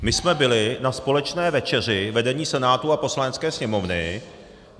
My jsme byli na společné večeři vedení Senátu a Poslanecké sněmovny.